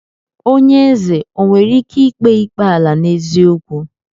Onye ézè o nwere ike kpee ikpe ala n'eziokwu?